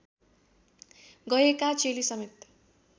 गएका चेली समेत